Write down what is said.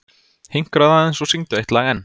Hinkraðu aðeins og syngdu eitt lag enn.